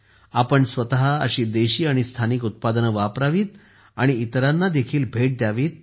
आपण स्वतःही अशी देशी आणि स्थानिक उत्पादने वापरावीत आणि इतरांनाही भेट द्यावीत